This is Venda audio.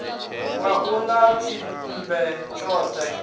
ya u ḓa tshiṱemmbe tshone